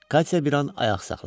Katya bir an ayaq saxladı.